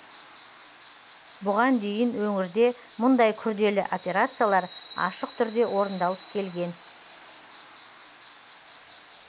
бұған дейін өңірде мұндай күрделі операциялар ашық түрде орындалып келген